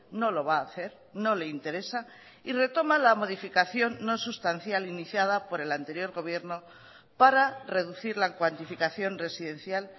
no lo va a hacer no le interesa y retoma la modificación no sustancial iniciada por el anterior gobierno para reducir la cuantificación residencial